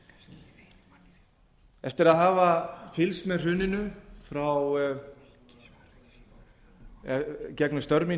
hrunið eftir að hafa fylgst með hruninu gegnum störf